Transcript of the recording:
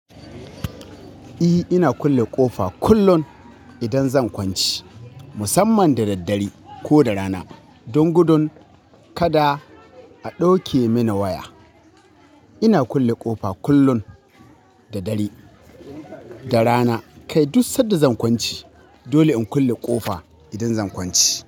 E, ina kulle ƙofa kullum idan zan kwanci, musamman da daddare ko da rana. Don gudun kada a ɗauke mini waya. Ina kulle ƙofa kullum da dare da rana kai duk sanda zan kwanci. Dole in kulle ƙofa idan zan kwanci.